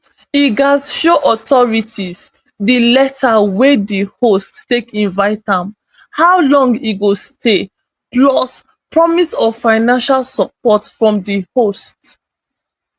e gatz show authorities di letter wey di host take invite am how long e go stay plus promise of financial support from di host